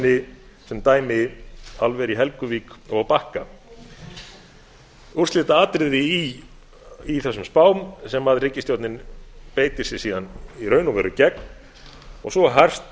nefni sem dæmi álver í helguvík og á bakka úrslitaatriði í þessum spám sem ríkisstjórnin beitir sér síðan í raun og veru gegn og svo hart